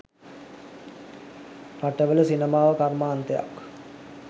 රටවල සිනමාව කර්මාන්තයක්